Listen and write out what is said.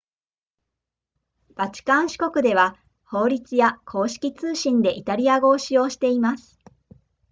バチカン市国では法律や公式通信でイタリア語を使用しています